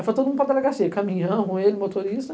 Aí foi todo mundo para delegacia, caminhão, ele, motorista.